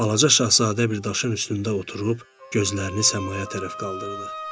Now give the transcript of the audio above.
Balaca şahzadə bir daşın üstündə oturub gözlərini səmaya tərəf qaldırdı.